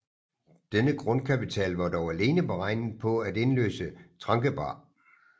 Denne grundkapital var dog alene beregnet på at indløse Tranquebar